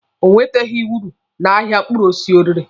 O nweteghi uru na ahịa mkpụrụ osisi ọ rere.